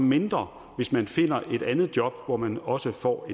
mindre hvis man finder et andet job hvor man også får